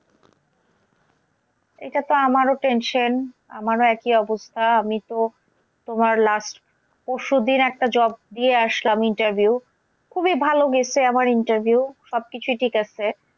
এটাতে আমারও tension আমারও একই অবস্থা আমি তো তোমার last পরশুদিন একটা job দিয়ে আসলাম interview খুবই ভালো গেছে আমার interview সব কিছুই ঠিক আছে।